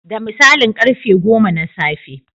Da misalin karfe goma na safe.